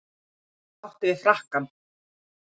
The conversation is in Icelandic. Og átti við frakkann.